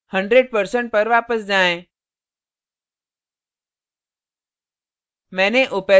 100% पर वापस जाएँ